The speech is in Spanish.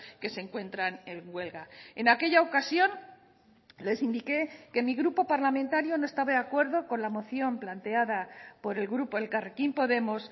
que se encuentran en huelga en aquella ocasión les indiqué que mi grupo parlamentario no estaba de acuerdo con la moción planteada por el grupo elkarrekin podemos